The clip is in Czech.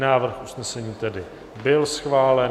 Návrh usnesení tedy byl schválen.